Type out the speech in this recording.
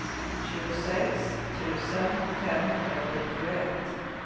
tjugosex tusen femhundrasjuttioett